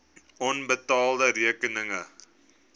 onbetaalde rekeninge